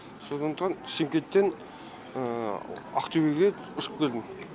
сондықтан шымкенттен ақтөбеге ұшып келдім